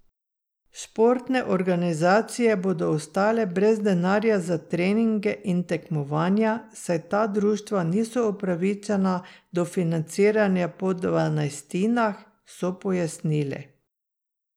Športne organizacije bodo ostale brez denarja za treninge in tekmovanja, saj ta društva niso upravičena do financiranja po dvanajstinah, so pojasnili.